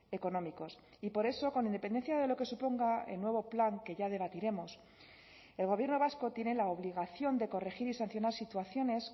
económicos y por eso con independencia de lo que suponga el nuevo plan que ya debatiremos el gobierno vasco tiene la obligación de corregir y sancionar situaciones